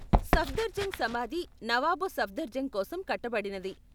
సఫ్దర్జంగ్ సమాధి నవాబ్ సఫ్దర్జంగ్ కోసం కట్టబడినది.